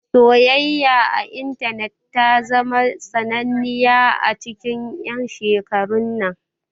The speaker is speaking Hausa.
Soyayya a intanet ta zama sananniya a cikin 'yan shekarun nan.